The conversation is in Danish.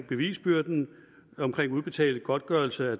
bevisbyrden om udbetaling af godtgørelse